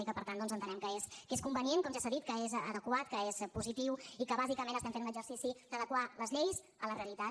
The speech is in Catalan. i per tant entenem que és convenient com ja s’ha dit que és adequat que és positiu i que bàsicament estem fent un exercici d’adequar les lleis a la realitat